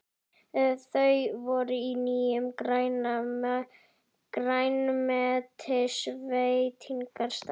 Þau fóru á nýjan grænmetisveitingastað.